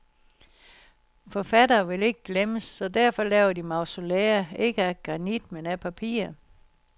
Forfattere vil ikke glemmes, så derfor laver de mausolæer, ikke af granit, men af papir.